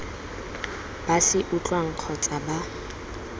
ba se utlwang kgotsa ba